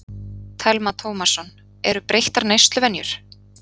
Telma Tómasson: Eru breyttar neysluvenjur?